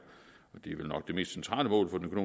og det er vel nok det mest centrale mål for den